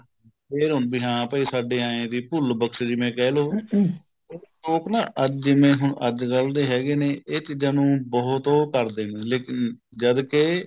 ਫ਼ੇਰ ਹੁਣ ਵੀ ਹਾ ਭਾਈ ਸਾਡੇ ਐਂ ਹੈ ਵੀ ਭੁੱਲ ਬਕਸ਼ ਜਿਵੇਂ ਕਹਿਲੋ ਲੋਕ ਨਾ ਜਿਵੇਂ ਹੁਣ ਅੱਜਕਲ ਦੇ ਹੈਗੇ ਨੇ ਇਹ ਚੀਜ਼ਾਂ ਨੂੰ ਬਹੁਤ ਉਹ ਕਰਦੇ ਨੇ ਲੇਕਿਨ ਜਦ ਕੇ